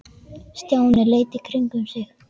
Stjáni leit í kringum sig.